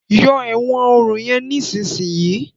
yọ èwòn òrun yen nísìsiyìí!